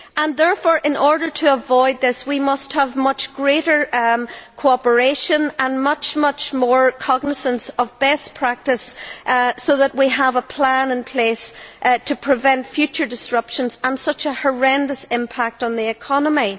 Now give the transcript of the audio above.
Therefore, in order to avoid this, we must have much greater cooperation and much more cognisance of best practice so that we have a plan in place to prevent future disruptions and such a horrendous impact on the economy.